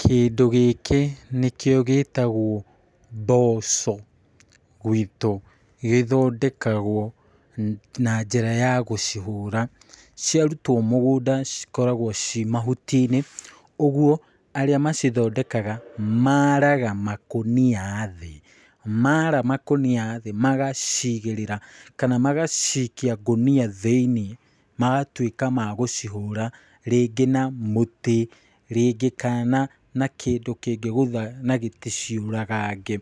Kĩndũ gĩkĩ nĩkĩo gĩtagwo mboco gwitũ, gĩthondekagwo na njĩra ya kũhũra ciarutwo mũgũnda cikoragwo ciĩ mahuti-inĩ. Ũguo arĩa macithondekaga maaraga makũnia thĩ magaciigĩrĩra kana magacikia ngũnia thĩinĩ magatuĩka ma gũcihũra, rĩngĩ na mũtĩ rĩngĩ kana na kĩndũ kĩngĩgũtha na gĩticiũragange.